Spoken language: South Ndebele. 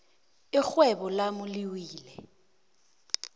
irhwebo lami liwile